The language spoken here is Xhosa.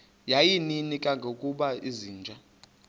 yayininzi kangangokuba izinja